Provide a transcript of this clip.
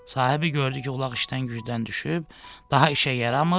Sahibi gördü ki, ulaq işdən gücdən düşüb, daha işə yaramır.